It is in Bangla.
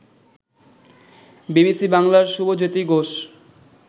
বিবিসি বাংলার শুভজ্যেতি ঘোষ